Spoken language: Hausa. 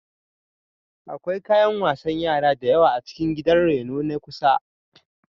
Akwai kayan wasan yara da yawa a cikin gidan reno na kusa.